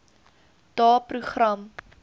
daeprogram